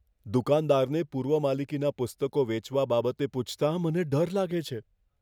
દુકાનદારને પૂર્વ માલિકીના પુસ્તકો વેચવા બાબતે પૂછતાં મને ડર લાગે છે.